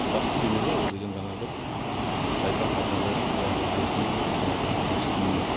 басты себебі ол деген жаңағы тайпақ азынабай суландыру жүйесінің жаңағы жұмыс істемеуі